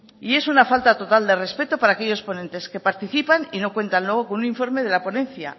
y es una falta total de respeto para aquellos ponentes que participan y no cuentan luego con un informe de la ponencia